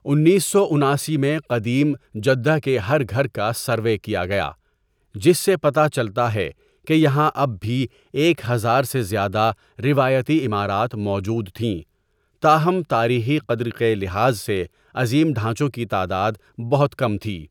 انیس سو اناسی میں قدیم جدہ کے ہر گھر کا سروے کیا گیا جس سے پتا چلتا ہے کہ یہاں اب بھی ایک ہزار سے زیادہ روایتی عمارات موجود تھیں تاہم تاریخی قدر کے لحاظسے عظیم ڈھانچوں کی تعداد بہت کم تھی.